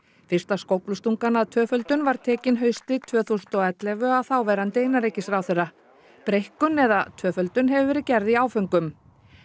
fyrsta skóflustungan að tvöföldun var tekin haustið tvö þúsund og ellefu af þáverandi innanríkisráðherra breikkun eða tvöföldun hefur verið gerð í áföngum